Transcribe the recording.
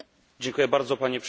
Panie Przewodniczący!